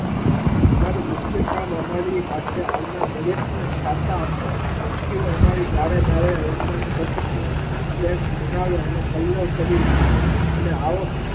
અમારું મુખ્ય કામ અમારી પાસે આવનાર દરેકને છાતા આપવાના પંખી અમારી ડાળે ડાળે રહેલા ટચુકડા ફ્લેટ બનાવે અને કલર કરી રહે એટલે આવક.